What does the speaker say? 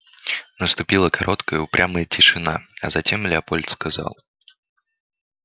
наступила короткая упрямая тишина а затем лепольд сказал